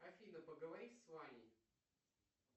афина поговори с ваней